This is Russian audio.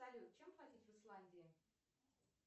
салют чем платить в исландии